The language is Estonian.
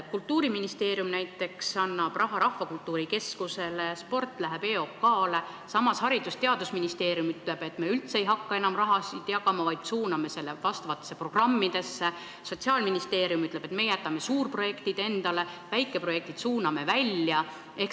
Kultuuriministeerium näiteks annab raha Rahvakultuuri Keskusele, spordiraha läheb EOK-le, samas Haridus- ja Teadusministeerium ütleb, et nad üldse ei hakka enam raha jagama, vaid suunab selle teatud programmidesse, Sotsiaalministeerium ütleb, et meie jätame suurprojektid endale, väikeprojektid suuname välja.